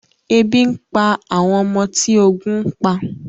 Ebi ń pa àwọn ọmọ tí ogun ń pa